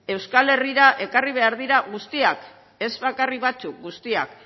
euskal herrira ekarri behar dira guztiak ez bakarrik batzuk guztiak